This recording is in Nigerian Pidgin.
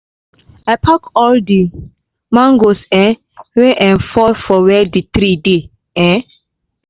i pack all the mangoes um wey um fall put for where the tree dey um